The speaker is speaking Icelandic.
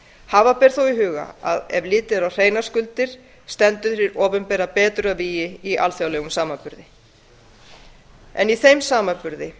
hafa ber þó í huga að ef litið er á hreinar skuldir stendur hið opinbera betur að vígi í alþjóðlegum samanburði